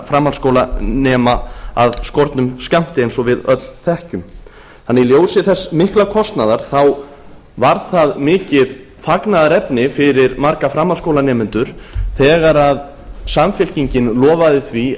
framhaldsskólanema af skornum skammti eins og við öll þekkjum í ljósi þess mikla kostnaðar var það mikið fagnaðarefni fyrir marga framhaldsskólanemendur þegar samfylkingin lofaði því